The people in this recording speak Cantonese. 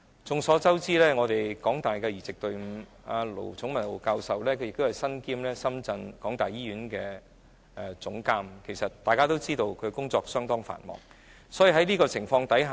眾所周知，在香港大學的移植隊伍，盧寵茂教授身兼香港大學深圳醫院的總監，大家也知道他的工作相當繁忙。